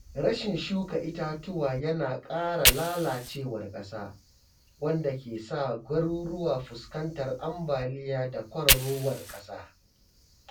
Rashin shuka itatuwa yana kara lalacewar ƙasa, wanda ke sa garuruwa fuskantar ambaliya da kwararowar ƙasa.